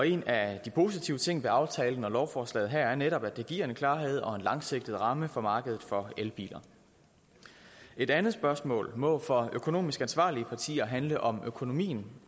en af de positive ting ved aftalen og lovforslaget her er netop at det giver en klarhed og en langsigtet ramme for markedet for elbiler et andet spørgsmål må for økonomisk ansvarlige partier handle om økonomien